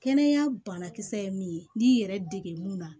Kɛnɛya banakisɛ ye min ye n'i y'i yɛrɛ dege mun na